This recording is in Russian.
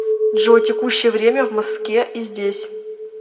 джой текущее время в моске и здесь